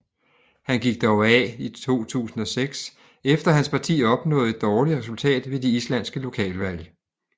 Han gik dog af i 2006 efter hans parti opnåede et dårligt resultat ved de islandske lokalvalg